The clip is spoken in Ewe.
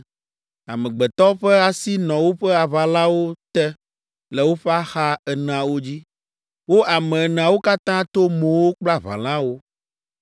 Amegbetɔ ƒe asi nɔ woƒe aʋalawo te le woƒe axa eneawo dzi. Wo ame eneawo katã to mowo kple aʋalawo,